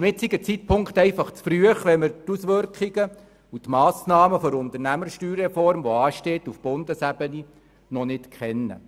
Zum jetzigen Zeitpunkt ist es einfach zu früh, weil wir die Massnahmen und Auswirkungen der auf Bundesebene anstehenden USR noch nicht kennen.